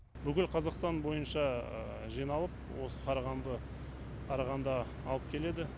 бүкіл қазақстан бойынша жиналып осы қарағанды қарағанда алып келеді